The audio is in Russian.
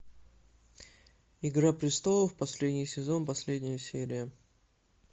игра престолов последний сезон последняя серия